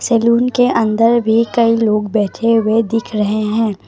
Salon के अंदर भी कई लोग बैठे हुए दिख रहे हैं।